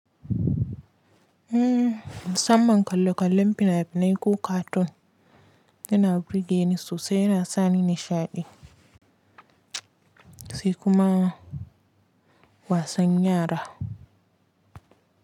Samman kalle-kallen fina-finai ko cartoon yana burge ni sosai yana sani nishaɗi sai kuma wasan yara.